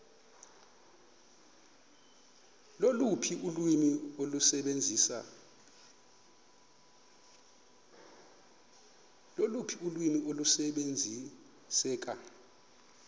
loluphi ulwimi olusebenziseka